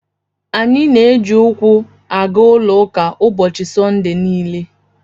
Anyị na-eji ụkwụ aga ụlọ ụka ụbọchị Sọnde niile.